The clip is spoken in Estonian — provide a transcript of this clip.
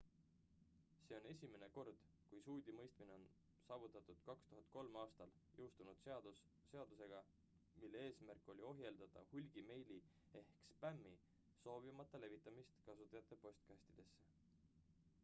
see on esimene kord kui süüdimõistmine on saavutatud 2003 aastal jõustatud seaduseg mille eesmärk oli ohjeldada hulgimeili ehk spämmi soovimata levitamist kasutajate postkastidesse